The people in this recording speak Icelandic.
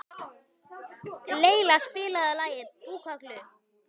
Leila, spilaðu lagið „Búkalú“.